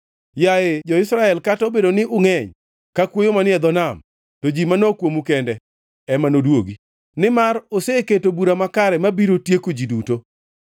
Yaye jo-Israel kata obedo ni ungʼeny, ka kwoyo manie dho nam, to ji manok kuomu kende ema nodwogi. Nimar oseketo bura makare mabiro tieko ji duto.